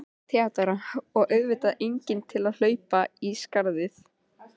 THEODÓRA: Og auðvitað enginn til að hlaupa í skarðið.